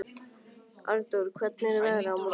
Arndór, hvernig er veðrið á morgun?